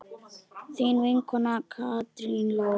Þín vinkona Katrín Lóa.